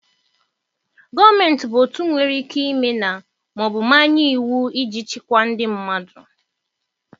Gọọmenti bụ otu nwere ikike ime na/ma ọ bụ manye iwu iji chịkwaa ndị mmadụ.